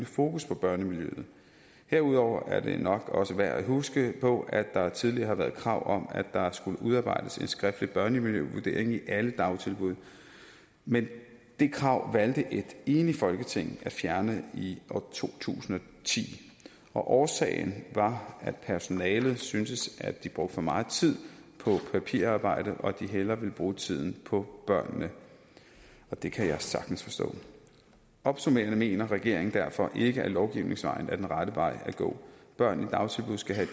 fokus på børnemiljøet herudover er det nok også værd at huske på at der tidligere har været krav om at der skulle udarbejdes en skriftlig børnemiljøvurdering i alle dagtilbud men det krav valgte et enigt folketing at fjerne i to tusind og ti årsagen var at personalet syntes at de brugte for meget tid på papirarbejde og at de hellere ville bruge tiden på børnene og det kan jeg sagtens forstå opsummerende mener regeringen derfor ikke at lovgivningens vej er den rette vej at gå børn i dagtilbud skal have